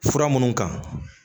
Fura minnu kan